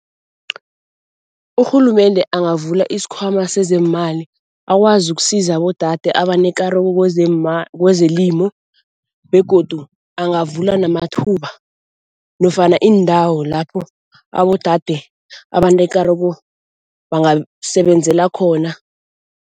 Urhulumende angavula isikhwama sezeemali akwazi ukusiza abodade abanekareko kwezelimu begodu angavula namathuba nofana iindawo lapho abodade abanekareko bangasebenzela khona.